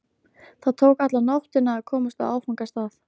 Það tók alla nóttina að komast á áfangastað.